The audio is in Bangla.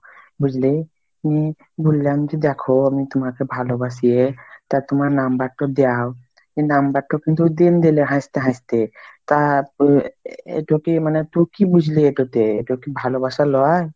বুঝলি উম বললাম যে দেখো আমি তুমাকে ভালো বাসি তা তুমার number টা দাও number টা কিন্তু দিনদিলো হাসতে হাসতে আর, এটো কি মানে তুই কি বুঝলি, এটোতে এটা কি ভালোবাসা লয়?